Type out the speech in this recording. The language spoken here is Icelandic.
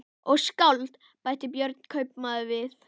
Og skáld, bætti Björn kaupmaður við.